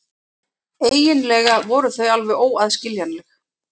Eiginlega voru þau alveg óaðskiljanleg.